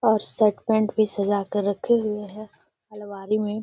और shirt pant भी सजा कर रखे हुए हैं अलमारी मे।